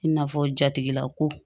I n'a fɔ jatigilako